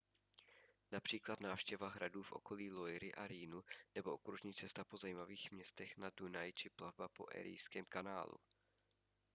například návštěva hradů v údolí loiry a rýnu nebo okružní cesta po zajímavých městech na dunaji či plavba po erijském kanálu